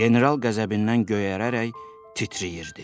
General qəzəbindən göyərərək titrəyirdi.